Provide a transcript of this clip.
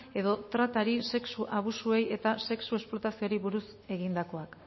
edo tratari sexu abusuei eta sexu esplotazioari buruz egindakoak